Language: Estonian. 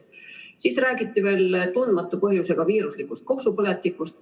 Siis räägiti veel teadmata põhjusega viiruslikust kopsupõletikust.